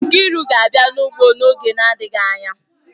Nkriu ga-abia n'ugbo n'oge na-adịghị anya.